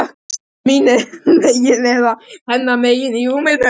Voruð þið mín megin eða hennar megin í rúminu?